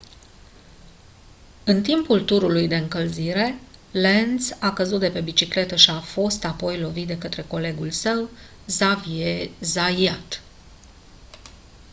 în timpul turului de încălzire lenz a căzut de pe bicicletă și a fost apoi lovit de către colegul său xavier zayat